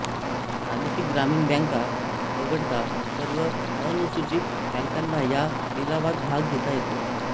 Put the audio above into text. प्रादेशिक ग्रामीण बँका वगळता सर्व अनुसूचित बँकांना या लिलावात भाग घेता येतो